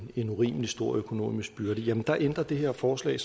en urimelig stor økonomisk byrde jamen der ændrer det her forslag